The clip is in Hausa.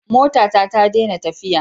Motata ta dena tafiya